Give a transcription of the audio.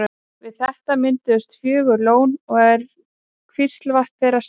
Við þetta mynduðust fjögur lón og er Kvíslavatn þeirra stærst.